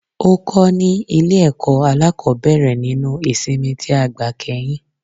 Ó kó ni ní Ilé èkó alákòbéèrè nínú ìsimi tí a gbà kéyìn